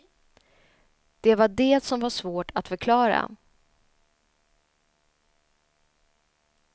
Det var det som var svårt att förklara.